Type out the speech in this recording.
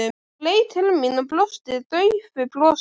Hún leit til mín og brosti daufu brosi.